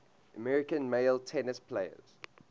american male tennis players